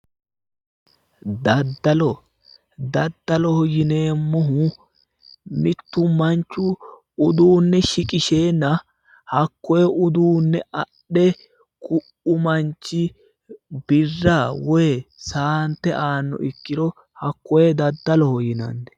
Daddalo, daddaloho yineemmohu mittu manchu uduunne shiqisheenna hakkoye uduunne adhe ku"u manchi birra woy saante aannoha ikkiro hakkoye daddaloho yinanni